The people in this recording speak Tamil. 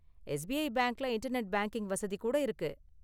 எஸ்பிஐ பேங்க்ல இன்டர்நெட் பேங்க்கிங் வசதி கூட இருக்கு.